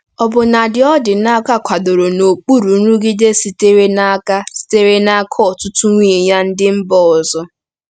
Ọbụnadị Odinaka kwadoro n’okpuru nrụgide sitere n’aka sitere n’aka ọtụtụ nwunye ya ndị mba ọzọ.